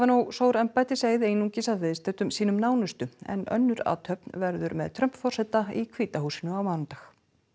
sór embættiseið einungis að viðstöddum sínum nánustu en önnur athöfn verður með Trump forseta í hvíta húsinu á mánudag